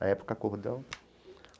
Na época, acordamos.